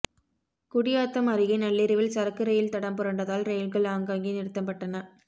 குடியாத்தம் அருகே நள்ளிரவில் சரக்கு ரெயில் தடம் புரண்டதால் ரெயில்கள் ஆங்காங்கே நிறுத்தப்பட்டன